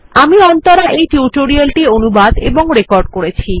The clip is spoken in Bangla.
আমি অন্তরা এই টিউটোরিয়াল টি অনুবাদ এবং রেকর্ড করেছি